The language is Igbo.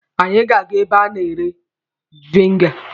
Anyị ga-aga ebe a na-ere veniga.